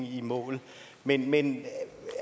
i mål med den